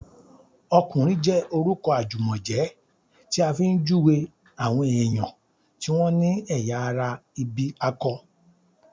"ọkùnrin" jẹ́ orúkọ àjùmọ̀jẹ́ tí a fi ń júwèé àwọn èèyàn tí wọ́n ní ẹ̀yà ara ìbí akọ